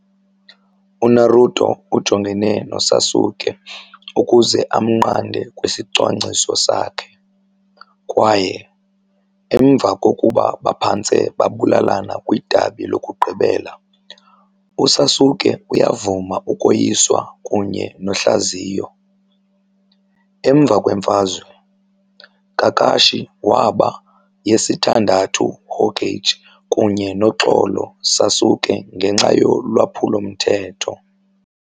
UNaruto ujongene noSasuke ukuze amnqande kwisicwangciso sakhe, kwaye emva kokuba baphantse babulalana kwidabi lokugqibela, uSasuke uyavuma ukoyiswa kunye nohlaziyo. Emva kwemfazwe, Kakashi waba yesithandathu Hokage kunye noxolo Sasuke ngenxa yolwaphulo-mthetho.